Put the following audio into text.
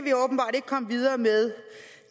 komme videre med